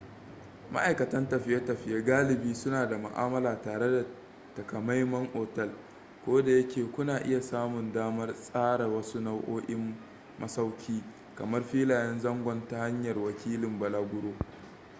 ma'aikatan tafiye-tafiye galibi suna da ma'amala tare da takamaiman otal kodayake kuna iya samun damar tsara wasu nau'o'in masauki kamar filayen zangon ta hanyar wakilin balaguro